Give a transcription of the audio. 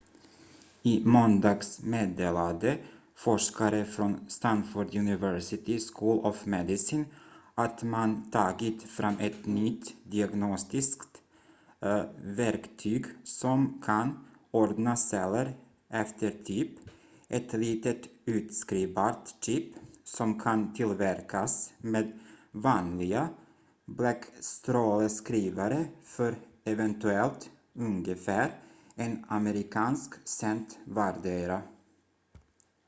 i måndags meddelade forskare från stanford university school of medicine att man tagit fram ett nytt diagnostiskt verktyg som kan ordna celler efter typ ett litet utskrivbart chip som kan tillverkas med vanliga bläckstråleskrivare för eventuellt ungefär en amerikansk cent vardera